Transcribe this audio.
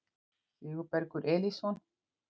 Sigurbergur Elísson